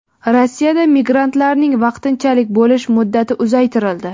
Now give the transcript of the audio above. Rossiyada migrantlarning vaqtinchalik bo‘lish muddati uzaytirildi.